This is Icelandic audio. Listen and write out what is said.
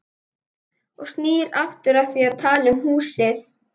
Og snýr aftur að því að tala um húsið.